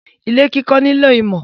Ilé kiko nilo imo